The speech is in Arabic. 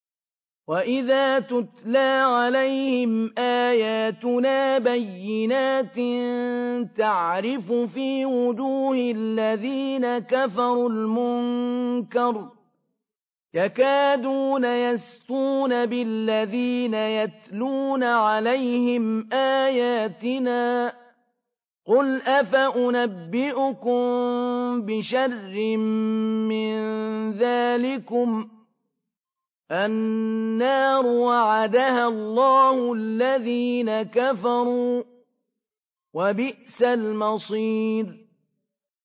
وَإِذَا تُتْلَىٰ عَلَيْهِمْ آيَاتُنَا بَيِّنَاتٍ تَعْرِفُ فِي وُجُوهِ الَّذِينَ كَفَرُوا الْمُنكَرَ ۖ يَكَادُونَ يَسْطُونَ بِالَّذِينَ يَتْلُونَ عَلَيْهِمْ آيَاتِنَا ۗ قُلْ أَفَأُنَبِّئُكُم بِشَرٍّ مِّن ذَٰلِكُمُ ۗ النَّارُ وَعَدَهَا اللَّهُ الَّذِينَ كَفَرُوا ۖ وَبِئْسَ الْمَصِيرُ